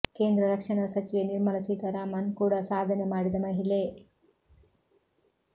ಕೇಂದ್ರ ರಕ್ಷಣಾ ಸಚಿವೆ ನಿರ್ಮಲ ಸೀತಾರಾಮನ್ ಕೂಡ ಸಾಧನೆ ಮಾಡಿದ ಮಹಿಳೆ